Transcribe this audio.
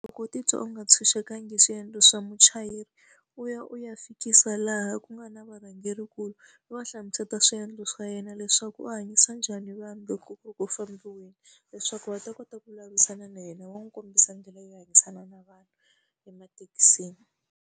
Loko u titwa u nga ntshunxekanga hi swiendlo swa muchayeri, u ya u ya fikisa laha ku nga na varhangerinkulu, u va hlamusela swiendlo swa yena leswaku u hanyisa njhani vanhu loko ku ri ku fambiseni leswaku va ta kota ku vulavurisana na yena va n'wi kombisa ndlela yo hanyisana na vanhu emathekisini.